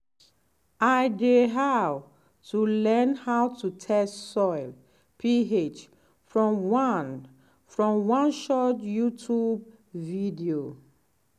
i dey how to learn how to test soil ph from one from one short youtube video.